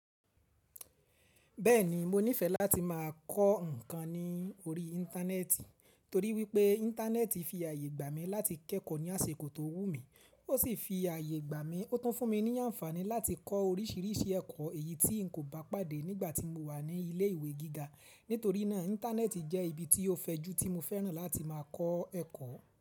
Bẹ́ẹ̀ni, mo nífẹ̀ẹ́ láti máa kọ ǹkan ní orí Íńtánẹ́ẹ̀tì torí wípé Íńtánẹ́ẹ̀tì fi àyè gbà mí láti kẹ́kọ̀ọ́ ní àsiko tó wù mí, ó sì fi àyè gbà mí, ó tún fún mi ní àǹfààní láti kọ oríṣiríṣi ẹ̀kọ̀ èyí tí n kò bá pàdé nígbà tí mo wà ní ilé ìwé gíga. Nítorí náà Íńtánẹ́ẹ̀tì jẹ́ ibi tí ó fẹjú tí mo fẹ́ràn láti máa kọ ẹ̀kọ́